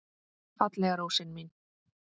Fallega rósin mín.